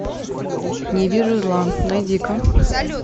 не вижу зла найди ка